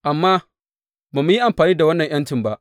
Amma ba mu yi amfani da wannan ’yancin ba.